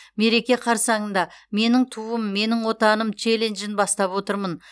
мереке қарсаңында менің туым менің отаным челленджін бастап отырмын